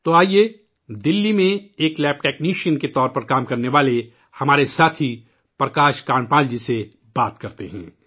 تو آئیے دلی میں ایک لیب ٹیکنیشین کے طور پر کام کرنے والے اپنے ساتھی پرکاش کانڈپال جی سے بات کرتے ہیں